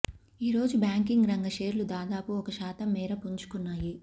ఈరోజు బ్యాంకింగ్ రంగ షేర్లు దాదాపు ఒక శాతం మేర పుంజుకున్నాయి